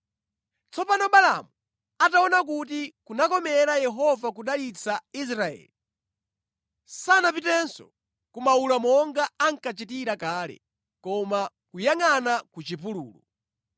Tsopano Balaamu ataona kuti kunakomera Yehova kudalitsa Israeli, sanapitenso ku mawula monga ankachitira kale, koma kuyangʼana ku chipululu.